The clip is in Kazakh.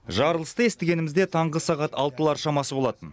жарылысты естігенімізде таңғы сағат алтылар шамасы болатын